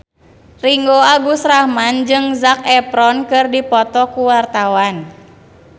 Ringgo Agus Rahman jeung Zac Efron keur dipoto ku wartawan